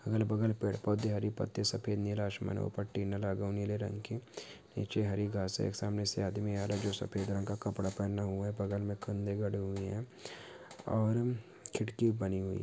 अगल बगल पेड़ पोधे हरी पत्ती सफेद नीला आसमान ऊपर टीन लागा नीले रंग की नीचे हरी घास है सामने से आदमी आ रहा है जो सफेद रंग का कपड़ा पहना हुआ है बगल मे खम्भे गड़े हुए हैं। और खिड़की बनी हुई।